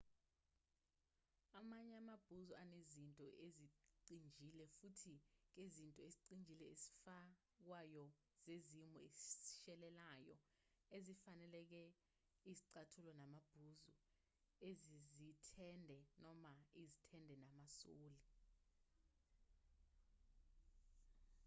amanye amabhuzu anezinto ezicijile futhi kezinto ezicijile ezifakwayo zezimo ezishelelayo ezifaneleke izicathulo namabhuzu ezezithende noma izithende namasoli